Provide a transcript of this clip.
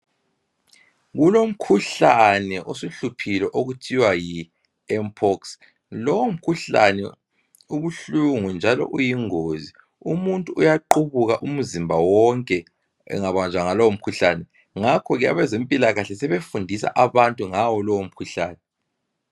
Kulomkhuhlane osuhluphile okuthiwa Yi mpox. Lo mkhuhlane ubuhlungu njalo uyingozi umuntu uyaqhubuka umzimba wonke engabanjwa yilo umkhuhlane ngakhoke abezempilakahle sebefunda abantu ngawo lo umkhuhlane